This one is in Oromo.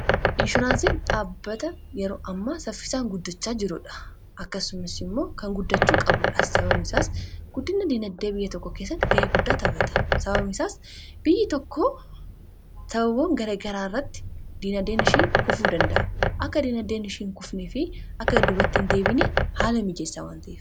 Inshuraansii dhaabbata yeroo ammaa saffisaan guddachaa jirudha . akkasumis immoo kan guddachuu qabuudha saba guddinna diinaddee biyya tokko keessatti ga'ee guddaa saffisa. biyya tokko gara garaarratti diinadeenishii kufuu danda’a akka diinaddeenishiin hin kufnii fi akka dubattiin hin deebineef haala mijeessaa wanta'eef.